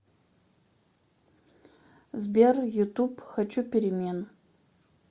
сбер ютуб хочу перемен